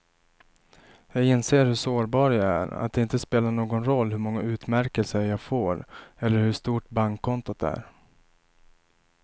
Jag inser hur sårbar jag är, att det inte spelar någon roll hur många utmärkelser jag får eller hur stort bankkontot är.